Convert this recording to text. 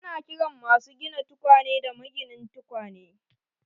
Ana kiran masu gina tukwane da maginin tukwane.